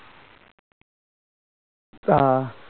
তা